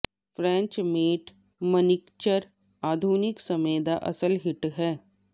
French matte manicure ਆਧੁਨਿਕ ਸਮੇਂ ਦਾ ਅਸਲ ਹਿੱਟ ਹੈ